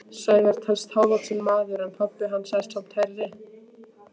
Sævar telst hávaxinn maður en pabbi er samt hærri.